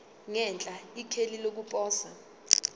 ngenhla ikheli lokuposa